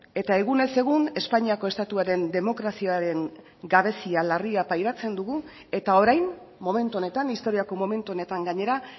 eta egunez egun espainiako estatuaren demokraziaren gabezia larria pairatzen dugu eta orain momentu honetan historiako momentu honetan gainera